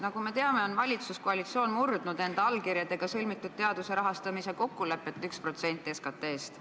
Nagu me teame, on valitsuskoalitsioon murdnud enda allkirjastatud teaduse rahastamise kokkulepet, 1% SKT-st.